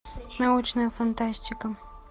научная фантастика